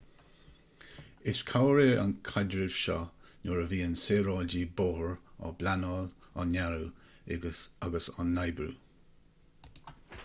is cabhair é an caidreamh seo nuair a bhíonn saoráidí bóthair á bpleanáil á ndearadh agus á n-oibriú